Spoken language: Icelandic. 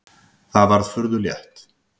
Það var furðu létt.